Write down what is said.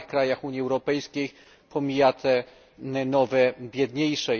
starych krajach Unii Europejskiej, pomija te nowe, biedniejsze.